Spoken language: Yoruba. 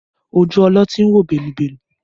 Ojú ọlọ́tí ń wò bẹ́lúbẹ́lú